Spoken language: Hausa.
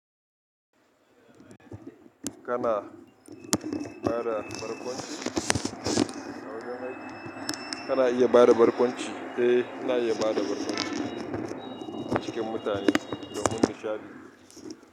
Kana bada barkwanci? Kana iya bada barkwanci? Eh, na iya bada barkwanci cikin mutane domin nishaɗi.